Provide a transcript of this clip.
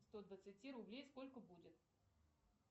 сто двадцати рублей сколько будет